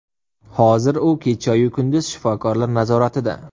Hozir u kechayu kunduz shifokorlar nazoratida.